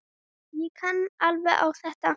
Ég kann alveg á þetta.